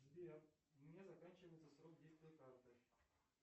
сбер у меня заканчивается срок действия карты